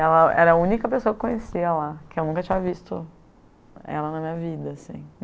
Ela era a única pessoa que eu conhecia lá, que eu nunca tinha visto ela na minha vida, assim.